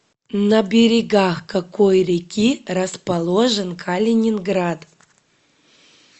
на берегах какой реки расположен калининград